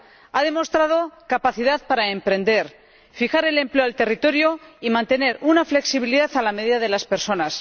Ha demostrado capacidad para emprender, fijar el empleo al territorio y mantener una flexibilidad a la medida de las personas.